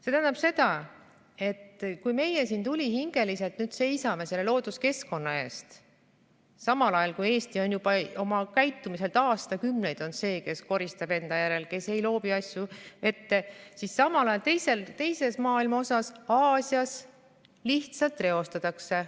See tähendab seda, et kui meie siin tulihingeliselt seisame looduskeskkonna eest, kui Eesti on oma käitumiselt juba aastakümneid olnud see, kes koristab enda järel, kes ei loobi asju vette, siis samal ajal teises maailma osas, Aasias, lihtsalt reostatakse.